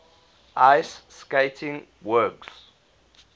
ice skating works